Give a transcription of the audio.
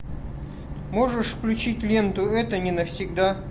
можешь включить ленту это не навсегда